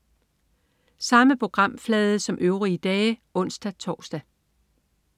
Samme programflade som øvrige dage (ons-tors)